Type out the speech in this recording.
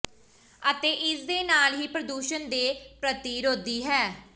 ਅਤੇ ਇਸ ਦੇ ਨਾਲ ਹੀ ਇਹ ਪ੍ਰਦੂਸ਼ਣ ਦੇ ਪ੍ਰਤੀਰੋਧੀ ਹੈ